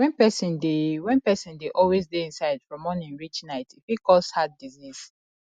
when person dey when person dey always dey inside from morning reach night e fit cause heart disease